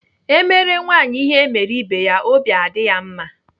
Emere nwaanyị ihe emere ibe ya, obi adị ya mma.